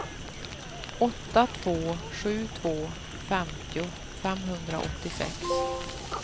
åtta två sju två femtio femhundraåttiosex